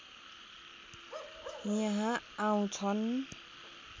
यहाँ आउँछन्